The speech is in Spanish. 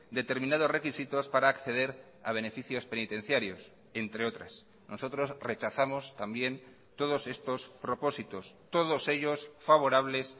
determinados requisitos para acceder a beneficios penitenciarios entre otras nosotros rechazamos también todos estos propósitos todos ellos favorables